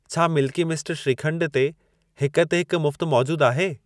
छा Milky Mist shrikhand ते 'हिक ते हिक मुफ़्त' मौजूद आहे?